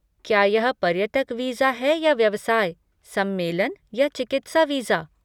क्या यह पर्यटक वीज़ा है या व्यवसाय, सम्मेलन या चिकित्सा वीज़ा?